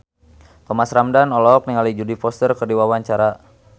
Thomas Ramdhan olohok ningali Jodie Foster keur diwawancara